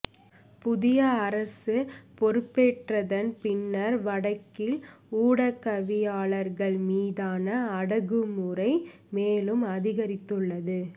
புதிய அரசு பொறுப்பேற்றதன் பின்னர் வடக்கில் ஊடகவியலாளர்கள் மீதான அடக்குமுறை மேலும் அதிகரித்துள்ளது